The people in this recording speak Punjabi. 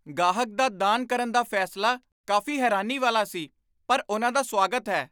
ਗਾਹਕ ਦਾ ਦਾਨ ਕਰਨ ਦਾ ਫੈਸਲਾ ਕਾਫ਼ੀ ਹੈਰਾਨੀ ਵਾਲਾ ਸੀ, ਪਰ ਉਨ੍ਹਾਂ ਦਾ ਸਵਾਗਤ ਹੈ।